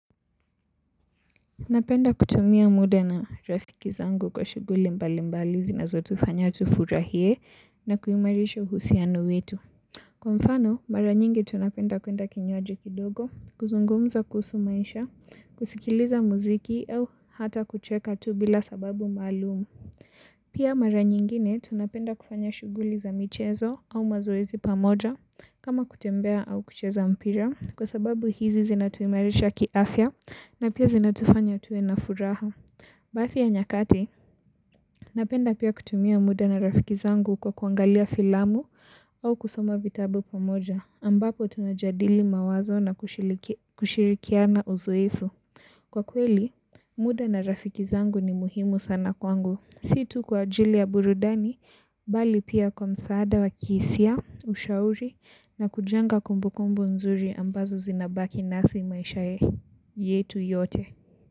Napenda kutumia muda na rafiki zangu kwa shughuli mbali mbali zinazotufanya tufurahie na kuimarisha husiano wetu. Kwa mfano, mara nyingi tunapenda kuenda kinywaji kidogo, kuzungumza kuhusu maisha, kusikiliza muziki au hata kucheka tu bila sababu maalum. Pia mara nyingine tunapenda kufanya shughuli za michezo au mazoezi pamoja kama kutembea au kucheza mpira kwa sababu hizi zinatuimarisha kiafya na pia zinatufanya tuwe na furaha. Baadhi ya nyakati, napenda pia kutumia muda na rafiki zangu kwa kuangalia filamu au kusoma vitabu pamoja, ambapo tunajadili mawazo na kushirikiana uzuifu. Kwa kweli, muda na rafiki zangu ni muhimu sana kwangu. Si tu kwa ajili ya burudani, mbali pia kwa msaada wa kihisia, ushauri na kujenga kumbukumbu nzuri ambazo zinabaki nasi maisha yetu yote.